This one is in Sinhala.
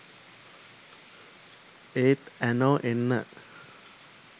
ඒත් ඇනෝ එන්න